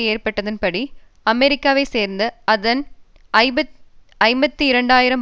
ஏற்பட்டதன்படி அமெரிக்காவை சேர்ந்த அதன் ஐம்பத்தி இரண்டு ஆயிரம்